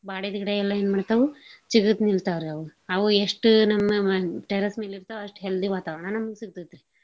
ಬಾಡಿದ್ಗಿಡಾ ಎಲ್ಲಾ ಏನ್ ಮಾಡ್ತಾವು ಚಿಗತ್ನಿಲ್ತಾವ್ರಿ ಅವ್. ಅವು ಎಷ್ಟು ನಮ್ಮ ಮ~ terrace ಮೇಲಿರ್ತಾವ ಅಷ್ಟ್ healthy ವಾತಾವರಣ ನಮ್ಗ್ ಸಿಗ್ತೇತ್ರಿ.